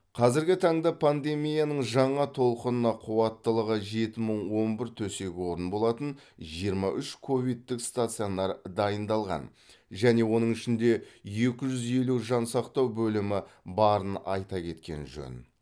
қазіргі таңда пандемияның жаңа толқынына қуаттылығы жеті мың он бір төсек орын болатын жиырма үш ковидтік стационар дайындалған және оның ішінде екі жүз елу жансақтау бөлімі барын айта кеткен жөн